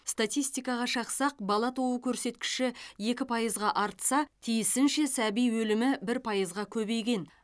статистикаға шақсақ бала туу көрсеткіші екі пайызға артса тиісінше сәби өлімі бір пайызға көбейген